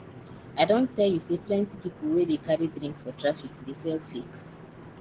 i don tell you sey plenty pipu wey dey carry drink for traffic dey sell fake